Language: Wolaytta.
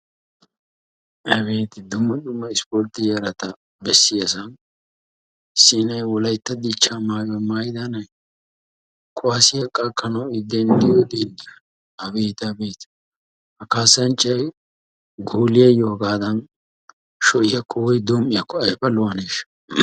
Abeeti! dumma dumma ispportte yarata bessiyaasan issi nay wolaytta dichcha maayuwa maayida nay kuwasiya qakkanawu I denddiyo denddoy, abeeti! abeeti! ha kaassanchchay gooliyayyo hagadan sho'iyakko woy dom''iyakko aybba lo''aneshsha!